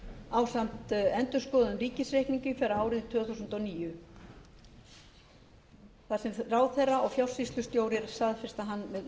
ásamt endurskoðuðum ríkisreikningi fyrir árið tvö þúsund og níu þar sem ráðherra og fjársýslustjóri staðfesta